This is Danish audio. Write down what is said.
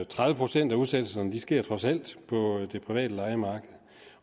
tredive procent af udsættelserne sker trods alt på det private lejemarked